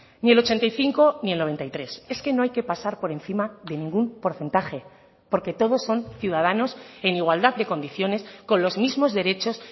ni el ochenta y cinco ni el noventa y tres es que no hay que pasar por encima de ningún porcentaje porque todos son ciudadanos en igualdad de condiciones con los mismos derechos